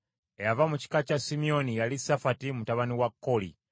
Eyava mu kika kya Simyoni yali Safati mutabani wa Kooli.